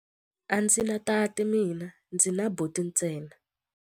A ndzi na tati mina, ndzi na buti ntsena.